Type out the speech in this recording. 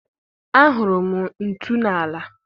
Ahụrụ m ntu n'ala.